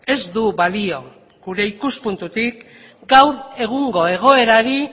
ez du balio gure ikuspuntutik gaur egungo egoerari